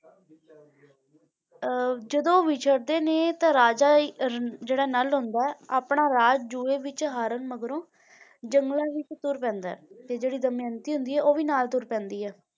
ਅਹ ਜਦੋਂ ਉਹ ਵਿਛੜਦੇ ਨੇ ਤਾਂ ਰਾਜਾ ਇਹ ਅਹ ਜਿਹੜਾ ਨਲ ਹੁੰਦਾ ਹੈ ਆਪਣਾ ਰਾਜ ਜੂਏ ਵਿੱਚ ਹਾਰਨ ਮਗਰੋਂ ਜੰਗਲਾਂ ਵਿੱਚ ਤੁਰ ਪੈਂਦਾ ਹੈ ਤੇ ਜਿਹੜੀ ਦਮਿਅੰਤੀ ਹੁੰਦੀ ਹੈ ਉਹ ਵੀ ਨਾਲ ਤੁਰ ਪੈਂਦੀ ਹੈ,